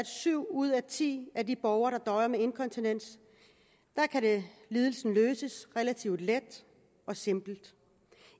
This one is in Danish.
syv ud af ti af de borgere der døjer med inkontinens kan lidelsen løses relativt let og simpelt